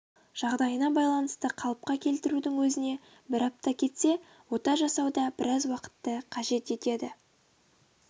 жағдайына байланысты қалыпқа келтірудің өзіне бір апта кетсе ота жасау да біраз уақытты қажет етеді